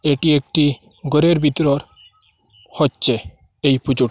এটি একটি ঘরের ভিতর হচ্ছে এই পুজোটি।